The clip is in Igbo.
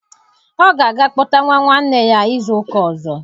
Ọ ga-aga kpọta nwa nwanne nne ya izu ụka ọzọ.